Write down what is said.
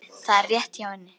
Það er rétt hjá henni.